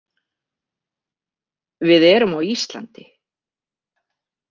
Við erum á Íslandi.